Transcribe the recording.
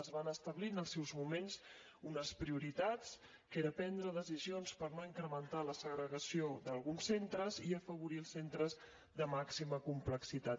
es van establir en el seu moment unes prioritats que era prendre decisions per no incrementar la segregació d’alguns centres i afavorir els centres de màxima complexitat